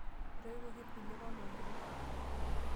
Etoiwoki irkuliek omayianat.